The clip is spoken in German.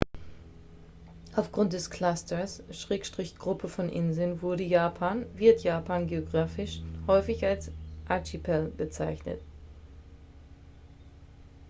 "aufgrund des clusters/gruppe von inseln wurde japan wird japan geografisch häufig als "archipel" bezeichnet.